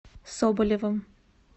соболевым